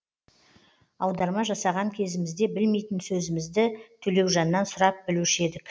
аударма жасаған кезімізде білмейтін сөзімізді төлеужаннан сұрап білуші едік